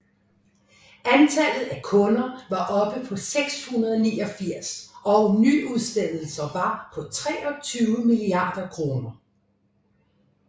Antallet af kunder var oppe på 689 og nyudstedelser var på 23 milliarder kroner